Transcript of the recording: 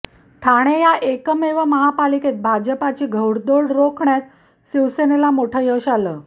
ठाणे या एकमेव महापालिकेत भाजपची घोडदौड रोखण्यात शिवसेनेला मोठं यश आलं